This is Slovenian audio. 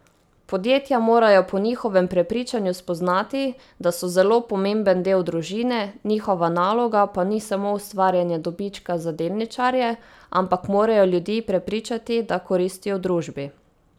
Podjetja morajo po njihovem prepričanju spoznati, da so zelo pomemben del družbe, njihova naloga pa ni samo ustvarjanje dobička za delničarje, ampak morajo ljudi prepričati, da koristijo družbi.